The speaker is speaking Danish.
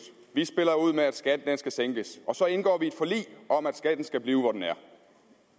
vi spiller ud med at skatten skal sænkes og så indgår vi et forlig om at skatten skal blive hvor den er